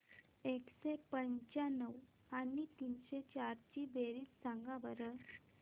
एकशे पंच्याण्णव आणि तीनशे चार ची बेरीज सांगा बरं